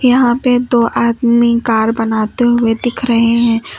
यहां पे दो आदमी कार बनाते हुए दिख रहे हैं।